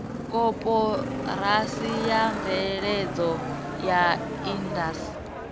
koporasi ya mveledzo ya indasi